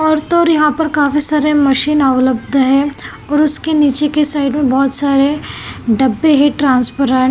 और तोर यहां पर काफी सारे मशीन अवेलब्ध् है और उसके नीचे के साइड में बहोत सारे डब्बे है ट्रांसपरेंट --